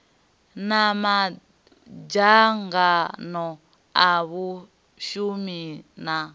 na madzangano a vhashumi na